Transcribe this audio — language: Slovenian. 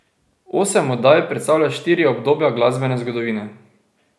Osem oddaj predstavlja štiri obdobja glasbene zgodovine.